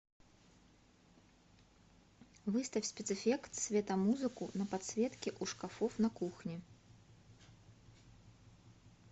выставь спецэффект светомузыку на подсветке у шкафов на кухне